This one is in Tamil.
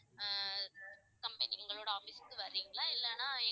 ஆஹ் company எங்களோட office க்கு வர்றீங்களா இல்லைன்னா